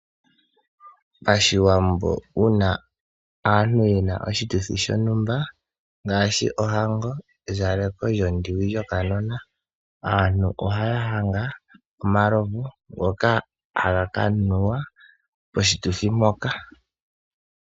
Pashiwambo uuna aantu ye na oshituthi shontumba ngaashi ohango, ezaleko lyonyoka lyokanona, aantu ohaya hanga omalovu ngoka haga ka nuwa poshituthi mpoka.